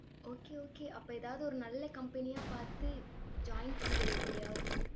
okay okay அப்ப ஏதாவது ஒரு நல்ல company யா பார்த்து join பண்ணிடு எப்படியாவது.